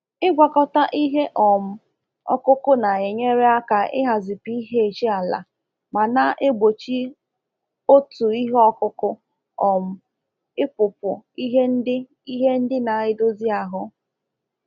Ịgwakọta ihe um ọkụkụ na-enyere aka ihazi pH ala ma na-egbochi otu ihe ọkụkụ um ịpụpụ ihe ndị ihe ndị na-edozi ahụ.